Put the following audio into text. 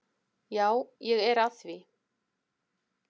Já, ég er að því.